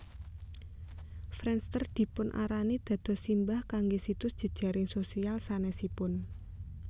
Friendster dipunarani dados simbah kangge situs jejaring sosial sanesipun